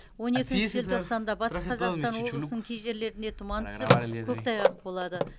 он екінші желтоқсанда батыс қазақстан облысының кей жерлерінде тұман түсіп көктайғақ болады